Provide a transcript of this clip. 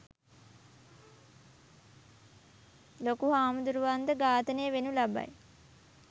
ලොකුහාමුදුරුවන් ද ඝාතනය වෙනු ලබයි